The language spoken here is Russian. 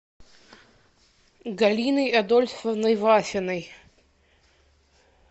галиной адольфовной вафиной